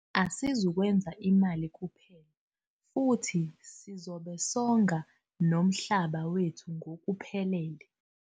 Asizukwenza imali kuphela, futhi sizobe songa nomhlaba wethu ngokuphelele.